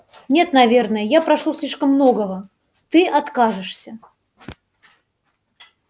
нет наверное я прошу слишком многого ты откажешься